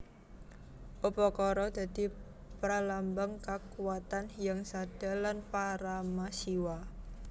Upakara dadi pralambang kakuwatan Hyang Sadha lan Parama Siwa